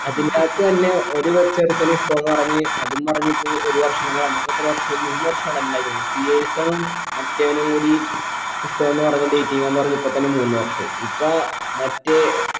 അതിന്റകത്ത് തന്നെ ഒ ഒരു കൊച്ച് ഒരുത്തനെ ഇഷ്ടാന്ന് പറഞ്ഞ് അതും പറഞ്ഞിപ്പോ ഒരു വർഷം തന്നെ കളഞ്ഞ് ഇപ്പോ എത്ര വർഷായി മൂന്ന് വർഷണല്ലേ ഉണ്ടായിക്ന്ന് നും മറ്റവനും കൂടി ഇഷ്ടാന്ന് പറഞ്ഞ് dating ആന്ന് പറഞ്ഞ് ഇപ്പൊ തന്നെ മൂന്ന് വർഷായി ഇപ്പൊ മറ്റേ